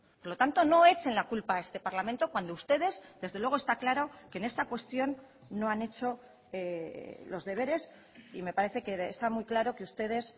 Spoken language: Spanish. por lo tanto no echen la culpa a este parlamento cuando ustedes desde luego está claro que en esta cuestión no han hecho los deberes y me parece que está muy claro que ustedes